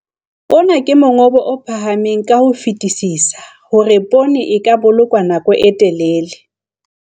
Ona ke mongobo o phahameng ka ho fetisisa hore poone e ka bolokwa nako e telele.